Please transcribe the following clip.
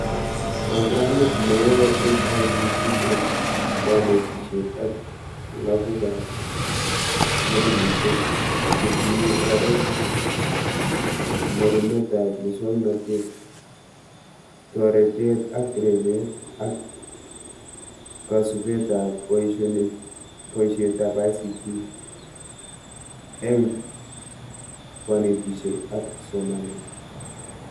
Programit neyoi eng ICT eng konetishet ak lagukab modulishek, chetinyee oret, ndorunetaab muswonotet, toretet ak rebet, ak kasubetab boishetab ICT enf konetishet ak somanet